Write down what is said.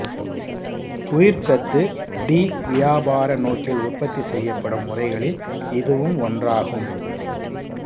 உயிர்ச்சத்து D வியாபார நோக்கில் உற்பத்தி செய்யப்படும் முறைகளில் இதுவும் ஒன்றாகும்